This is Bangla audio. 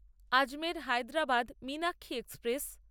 আজমের হায়দ্রাবাদ মীনাক্ষী এক্সপ্রেস